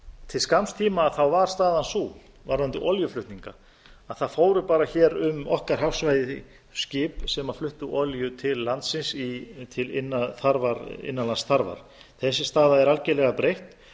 til skamms tíma var staðan sú varðandi olíuflutninga að það fóru bara hér um okkar hafsvæði skip sem fluttu olíu til landsins til innanlandsþarfa þessi staða er algerlega breytt